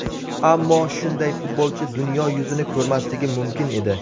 Ammo shunday futbolchi dunyo yuzini ko‘rmasligi mumkin edi.